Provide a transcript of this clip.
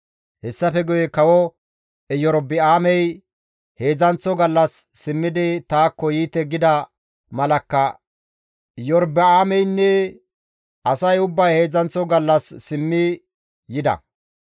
Hessafe guye kawo Erobi7aamey, «Heedzdzanththo gallas simmidi taakko yiite» gida malakka Iyorba7aameynne asay ubbay heedzdzanththo gallas simmidi yida.